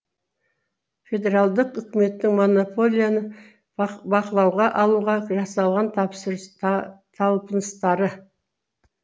федералдық үкіметтің монополияны бақылауға алуға жасалған талпыныстары